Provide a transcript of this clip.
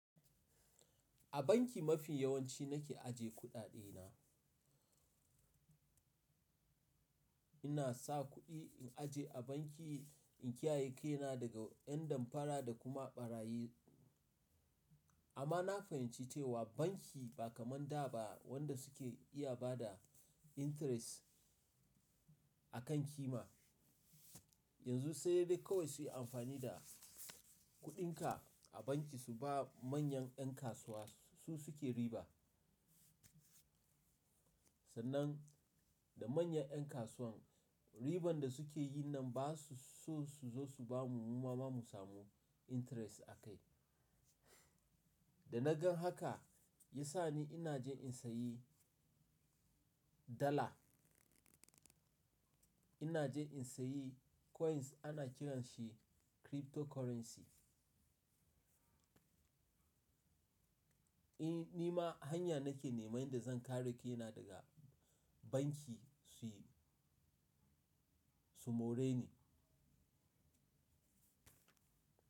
A banki mafi yawanci nake aje kuɗaɗe na. Ina sa kuɗi in aje a banki in kiyaye kaina daga yan damfara da kuma ɓarayi. Amma na fahimci cewa banki ba kamar da ba wanda suke iya bada interest a kan ƙima. Yanzu sai dai kawai su yi amfani da kuɗinka a banki su ba manyan ƴan kasuwa su suke riba. Sannan da manyan ƴan kasuwan riban da suke yi nan ba su so su zo su bamu mu ma mu samu interest a kai. Da na gan haka ya sa ni ina jin in sayi dala. Ina jin in sayi coins ana kiran shi cryptocurrency. Nima hanya nake neman da zan kare kaina daga banki su, su more ni.